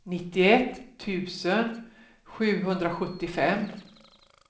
nittioett tusen sjuhundrasjuttiofem